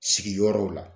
Sigiyɔrɔ la